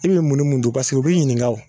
I bɛ munni mun dun don paseke u b'i ɲinikaw.